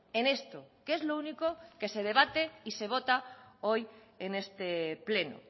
en esto que es lo único que se debate y se vota hoy en este pleno